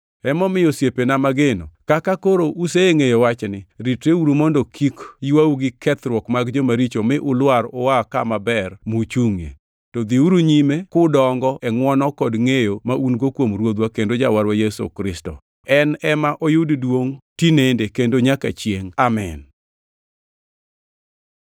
Barupenego duto ondiko machalre, kowuoyo kuom wechegi. Barupene otingʼo weche moko ma tiendgi tek ma joma kia kaachiel gi jo-hubagabaga gwenyo, mana kaka gigwenyo Ndiko mamoko bende, to timgino biro kelonegi chandruok.